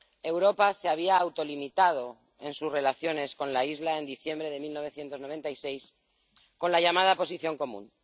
Europa se había autolimitado en sus relaciones con la isla, en diciembre de 1996, con la llamada Posición Común.